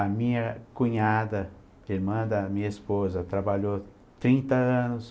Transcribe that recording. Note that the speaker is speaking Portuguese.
A minha cunhada, que é irmã da minha esposa, trabalhou trinta anos.